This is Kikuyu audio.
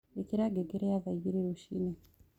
ĩkĩra ngengere ya thaaĩgĩrĩ rũcĩĩnĩ